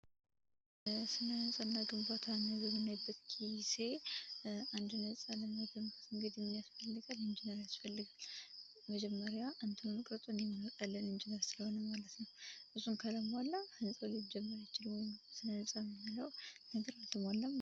ስነ ህንጻና ግንባታን በምናይበት ጊዜ አንድን ህንፃ ለመገንባት ምን ምን ያስፈልጋል እንግዲህ ኢንጂነር ያስፈልጋል መጀመርያ ቅርፁን የሚያወጣልን እሱ ስለሆነ ማለት ነው። እሱን ካላሞላን ስነ ህንፃ ልንለው አንችልም ወይም ለመባል አንችልም ማለት ነው።